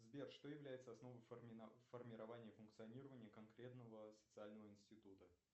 сбер что является основой формирования функционирования конкретного социального института